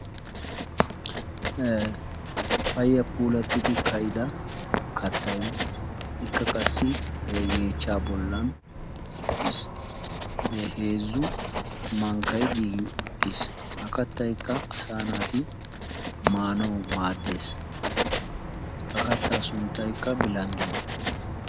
Payya puulattidi ka"ida kattayi ikka qassi yeechchaa bollan uttis. Heezzu mankkayi giigi uttis. Ha kattayikka asaa naati maanawu maaddes. Ha kattaa sunttaykka bilandduwa.